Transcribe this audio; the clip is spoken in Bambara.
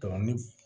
ni